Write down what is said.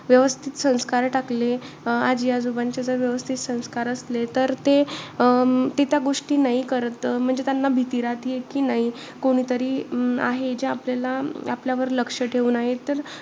व्यवस्थित संस्कार टाकले. आजी-आजोबांचे जर व्यवस्थित संस्कार असले तर ते अं ते त्या गोष्टी नाई करत. म्हणजे त्यांना भीती राहतेय कि, नाई कोणीतरी अं आहे, जे आपल्याला आपल्यावर लक्ष ठेऊन आहे.